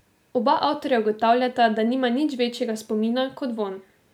Oba avtorja ugotavljata, da nima nič večjega spomina kot vonj.